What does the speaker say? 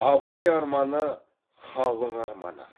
абай арманы халық арманы